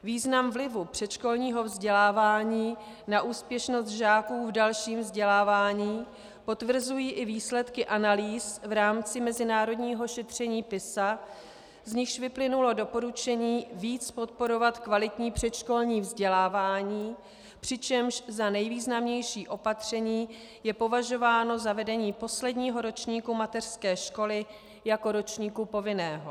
Význam vlivu předškolního vzdělávání na úspěšnost žáků v dalším vzdělávání potvrzují i výsledky analýz v rámci mezinárodního šetření PISA, z nichž vyplynulo doporučení víc podporovat kvalitní předškolní vzdělávání, přičemž za nejvýznamnější opatření je považováno zavedení posledního ročníku mateřské školy jako ročníku povinného.